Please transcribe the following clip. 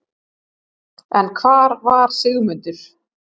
En hvar var Sigmundur?